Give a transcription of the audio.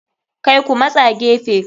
Kai Ku matsa gefe.